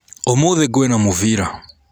ũmũthĩ kwĩna mũbira.